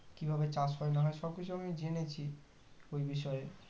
কি ভাবে চাষ হয় না হয় সবকিছু আমি জেনেছি ওই বিষয়ে